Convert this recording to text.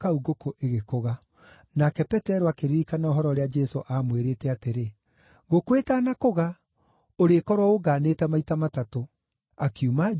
Nake Petero akĩririkana ũhoro ũrĩa Jesũ aamwĩrĩte atĩrĩ, “Ngũkũ ĩtanakũga, ũrĩkorwo ũngaanĩte maita matatũ.” Akiuma nja, akĩrĩra mũno.